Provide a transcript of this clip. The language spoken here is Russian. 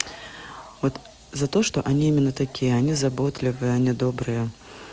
вот за то что они именно такие они заботливы они добрые